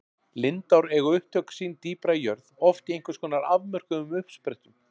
Lindár eiga upptök sín dýpra í jörð, oft í einhvers konar afmörkuðum uppsprettum.